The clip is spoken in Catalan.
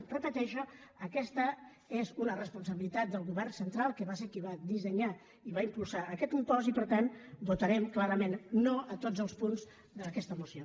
ho repeteixo aquesta és una responsabilitat del govern central que va ser qui va dissenyar i va impulsar aquest impost i per tant votarem clarament no a tots els punts d’aquesta moció